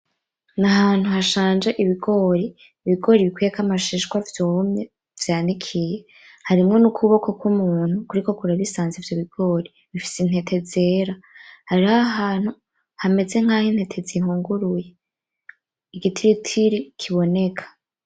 Ni ahantu hashanje ibigori, ibigori bikuyeko amashishwa vyumye vyanikiye, harimwo n'ukuboko kw'umuntu kuriko kurabisanza ivyo bigori bifise intete zera, hariho ahantu hameze nkaho intete zihunguruye, igitiritiri kiboneka.